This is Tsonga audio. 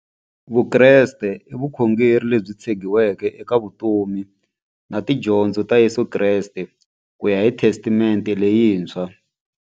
Vukreste i vukhongeri lebyi tshegiweke eka vutomi na tidyondzo ta Yesu Kreste kuya hi Testamente leyintshwa.